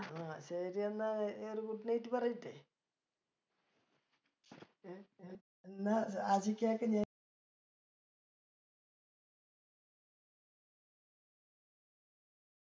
ആ ശരി എന്ന നീ ഒരു good night പറയട്ടെ എന്നാ ആശികക്ക് ഞാൻ